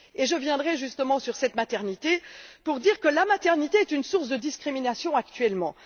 Et je reviendrai justement sur cette maternité pour dire qu'elle est une source de discriminations actuellement.